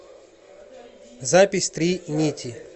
запись три нити